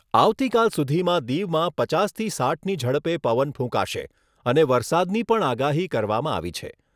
આવતીકાલ સુધીમાં દીવમાં પચાસથી સાઈઠની ઝડપે પવન ફૂંકાશે અને વરસાદની પણ આગાહી કરવામાં આવી છે.